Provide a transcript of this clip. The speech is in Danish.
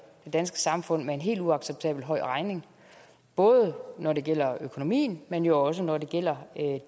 det danske samfund med en helt uacceptabel høj regning både når det gælder økonomien men også når det gælder